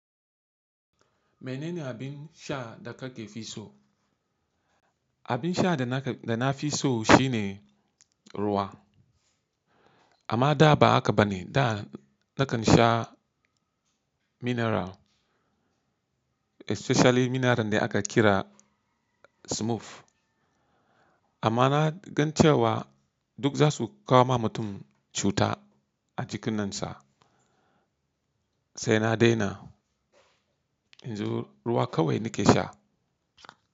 Menene abin sha da kake fi so? Abin sha da na fi so shine ruwa. Amma da ba haka ba ne, da nakan sha mineral especially mineral da aka kira Smoove. Amma na gan cewa duk za su kawo ma mutum cuta a jikinan sa, sai na daina. Yanzu ruwa kawai nake sha.